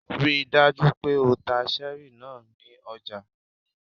Ríi dájú pé o ta cherry náà ní ọjà!